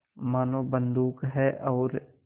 मानो बंदूक है और